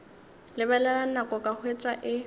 lebelela nako ka hwetša e